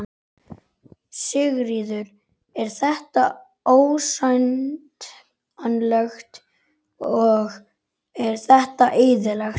Sigríður: Er þetta ásættanlegt og er þetta eðlilegt?